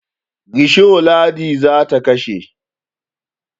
Risho Ladi za ta kashe.